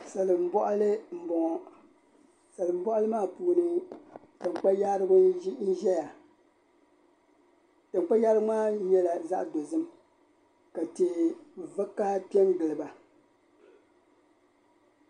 Salimbɔɣili m-bɔŋɔ. Salimbɔɣili maa puuni taŋkpayaarigu n-zaya. Taŋkpayaarigu maa nyɛla zaɣ' dozim ka tihi vakaha pe n-gili ba.